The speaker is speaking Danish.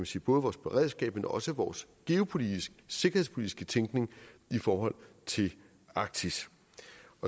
sige både vores beredskab men også vores geopolitiske sikkerhedspolitiske tænkning i forhold til arktis